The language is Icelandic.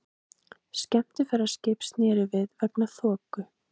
Skemmtiferðaskip snéri við vegna þoku